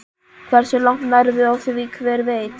Hversu langt nærðu á því, hver veit?